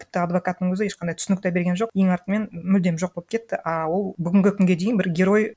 тіпті адвокаттың өзі ешқандай түсінік те берген жоқ ең артымен мүлдем жоқ боп кетті а ол бүгінгі күнге дейін бір герой